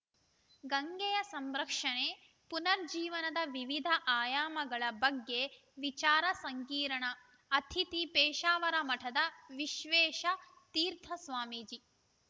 ಗಂಗೆಯ ಸಂರಕ್ಷಣೆ ಪುನರುಜ್ಜೀವನದ ವಿವಿಧ ಆಯಾಮಗಳ ಬಗ್ಗೆ ವಿಚಾರ ಸಂಕಿರಣ ಅತಿಥಿ ಪೇಸಾವರ ಮಠದ ವಿಶ್ವೇಶ ತೀರ್ಥ ಸ್ವಾಮೀಜಿ